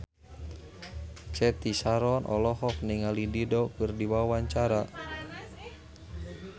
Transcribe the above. Cathy Sharon olohok ningali Dido keur diwawancara